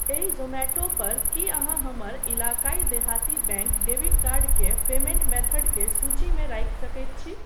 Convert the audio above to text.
एहि जोमैटो पर की अहाँ हमर इलाक़ाई देहाती बैंक डेबिट कर्ड केँ पेमेंट मेथड के सूचीमे राखि सकैत छी ?